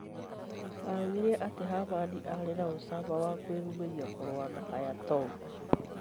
Oigire atĩ Ahmad aarĩ na 'ũcamba' wa kwĩũmĩria kũrũa na Hayatou.